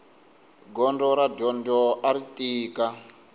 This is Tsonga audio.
gondzo ra dyondzo ari tika